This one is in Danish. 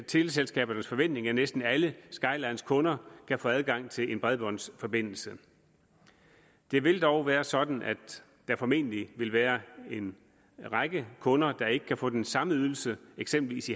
teleselskabernes forventning at næsten alle skylines kunder kan få adgang til en bredbåndsforbindelse det vil dog være sådan at der formentlig vil være en række kunder der ikke kan få den samme ydelse eksempelvis